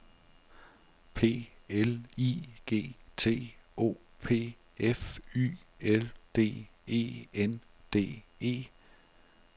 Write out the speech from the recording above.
P L I G T O P F Y L D E N D E